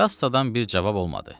Kassadan bir cavab olmadı.